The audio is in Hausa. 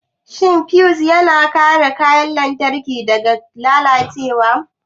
Shin fiyus yana kare kayan lantarki daga lalacewa?